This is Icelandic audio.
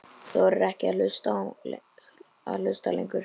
Þorir ekki að hlusta lengur.